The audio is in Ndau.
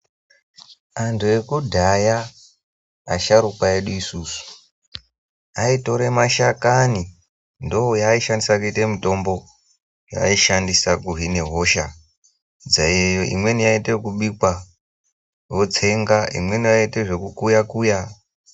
Anthu ekudhaya asharukwa edu isusu aitora mashakani ndoyaaishandisa kuite mitombo yaaishandisa kuhina hosha imweni yaiita zvekubikwa yokutsengwa imweni yaiita zvekukuya kuya.